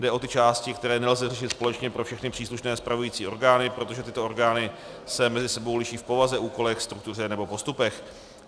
Jde o ty části, které nelze řešit společně pro všechny příslušné spravující orgány, protože tyto orgány se mezi sebou liší v povaze, úkolech, struktuře nebo postupech.